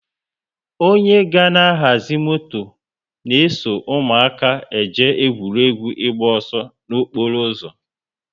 onye ga na ahazi moto na eso ụmụaka eje egwuregwu ịgba ọsọ na okporo ụzọ